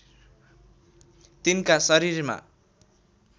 तिनका शरीरमा